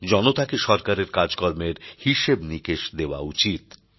জনতাকে সরকারের কাজকর্মের হিসেব নিকেশ দেওয়া উচিত